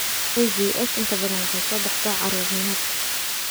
IGS inta badan waxay soo baxdaa caruurnimada.